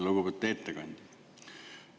Lugupeetud ettekandja!